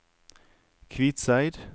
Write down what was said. Kvitseid